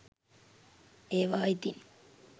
ඒවා ඉතින්